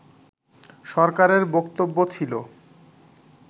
সরকারের বক্তব্য ছিল